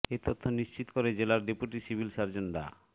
এ তথ্য নিশ্চিত করে জেলার ডেপুটি সিভিল সার্জন ডা